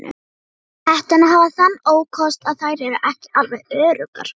Hetturnar hafa þann ókost að þær eru ekki alveg öruggar.